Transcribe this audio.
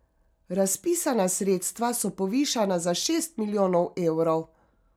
Razpisana sredstva so povišana za šest milijonov evrov.